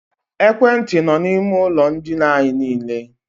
Ekwentị nọ na ime ụlọ ndina anyị niile.